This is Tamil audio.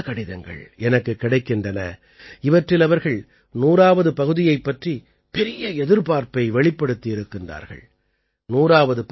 நாட்டுமக்களின் பல கடிதங்கள் எனக்குக் கிடைக்கின்றன இவற்றில் அவர்கள் 100ஆவது பகுதியைப் பற்றி பெரிய எதிர்பார்ப்பை வெளிப்படுத்தியிருக்கிறார்கள்